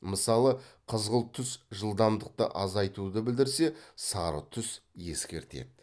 мысалы қызыл түс жылдамдықты азайтуды білдірсе сары түс ескертеді